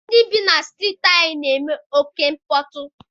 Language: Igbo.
Ndị bi na strịịtị anyị na-eme oké mkpọtụ.